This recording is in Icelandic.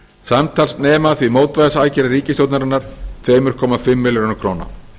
samtals nema því mótvægisaðgerðir ríkisstjórnarinnar tvö komma fimm milljörðum króna